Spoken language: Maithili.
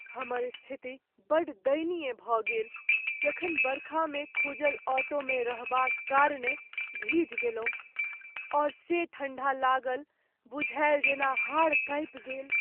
हमर स्थिति बड़ दयनीय भऽ गेल जखन बरखामे खूजल ऑटोमे रहबाक कारणे भिजि गेलहुँ, आओर से ठण्डा लागल बुझायल जेना हाड़ कांपि गेल।